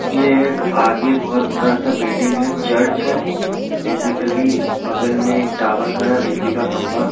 ये एक आगे बहुत बड़ा-सा बिल्डिंग है चर्च है बेसिकली बगल में एक टावर है बिजली का खंभा --